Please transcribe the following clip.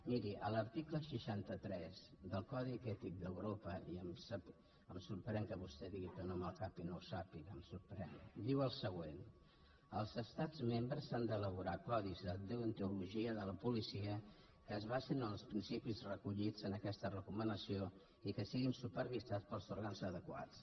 miri l’article seixanta tres del codi ètic d’euro·pa i em sorprèn que vostè digui que no amb el cap i no ho sàpiga em sorprèn diu el següent els estats mem·bres han d’elaborar codis de deontologia de la policia que es basin en els principis recollits en aquesta reco·manació i que siguin supervisats pels òrgans adequats